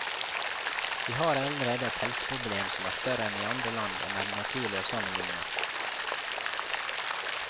Vi har allerede et helseproblem som er større enn i andre land det er naturlig å sammenligne seg med.